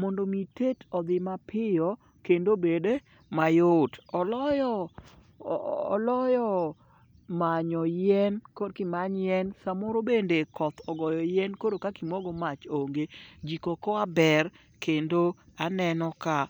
mondo omi tet odhi mapiyo kendo obed mayot. Oloyo manyo yien korki imany yien samoro bende koth ogoyo yien koro kakimokgo mach onge. Jiko okoa ber kendo aneno ka